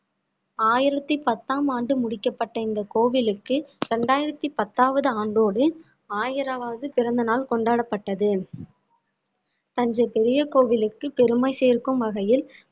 ஆயிரத்தி பத்தாம் ஆண்டு முடிக்கப்பட்ட இந்த கோவிலுக்கு இரண்டாயிரத்தி பத்தாவது ஆண்டோடு ஆயிரவாவது பிறந்த நாள் கொண்டாடப்பட்டது தஞ்சை பெரிய கோவிலுக்கு பெருமை சேர்க்கும் வகையில்